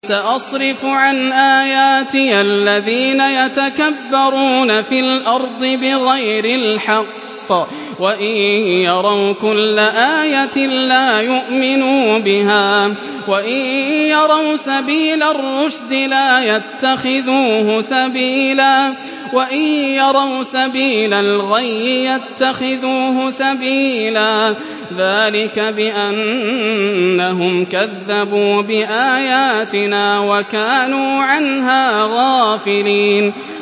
سَأَصْرِفُ عَنْ آيَاتِيَ الَّذِينَ يَتَكَبَّرُونَ فِي الْأَرْضِ بِغَيْرِ الْحَقِّ وَإِن يَرَوْا كُلَّ آيَةٍ لَّا يُؤْمِنُوا بِهَا وَإِن يَرَوْا سَبِيلَ الرُّشْدِ لَا يَتَّخِذُوهُ سَبِيلًا وَإِن يَرَوْا سَبِيلَ الْغَيِّ يَتَّخِذُوهُ سَبِيلًا ۚ ذَٰلِكَ بِأَنَّهُمْ كَذَّبُوا بِآيَاتِنَا وَكَانُوا عَنْهَا غَافِلِينَ